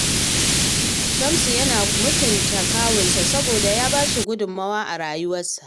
Shamsu yana mutunta kawunsa saboda ya ba shi gudummawa a rayuwarsa